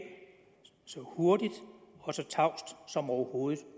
så hurtigt og så tavst som overhovedet